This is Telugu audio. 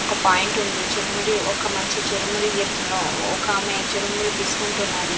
ఒక పాయింట్ ఉంది చురుమురి ఒక మంచి చురుమురి చేస్తున్నాడు ఒక ఆమె చురుమురి తీసుకుంటున్నది.